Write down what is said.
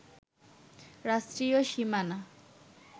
রাষ্ট্রীয় সীমানা